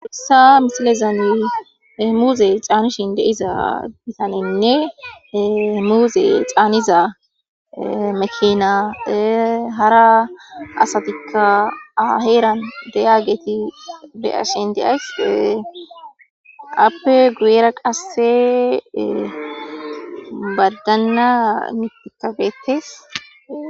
Hayssa misilezanie muuze xaanishin de'izaysanne muuze xaaniza makina hara asatikka aheeran deyaageti beashiin deays appe guyera qasse badanna mitikageetes